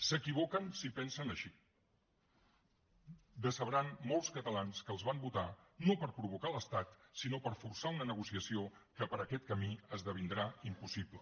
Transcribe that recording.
s’equivoquen si pensen així decebran molts catalans que els van votar no per provocar l’estat sinó per forçar una negociació que per aquest camí esdevindrà impossible